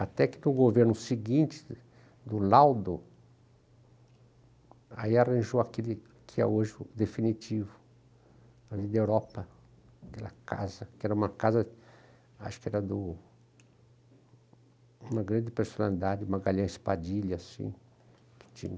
Até que no governo seguinte, do Laudo, aí arranjou aquele que é hoje o definitivo, ali da Europa, aquela casa, que era uma casa, acho que era do... uma grande personalidade, uma galinha espadilha, assim, que